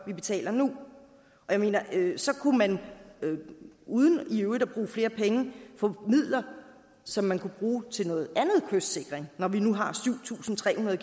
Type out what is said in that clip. vi betaler nu jeg mener så kunne man uden i øvrigt at bruge flere penge få midler som man kunne bruge til noget andet kystsikring når vi nu har syv tusind tre hundrede